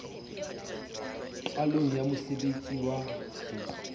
qalong ya mosebtsi wa ho